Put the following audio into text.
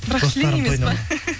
бірақ шли емес па